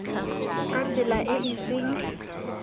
ka tsela e e seng